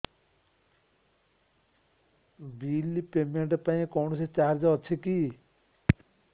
bill payment ପାଇଁ କୌଣସି charge ଅଛି କି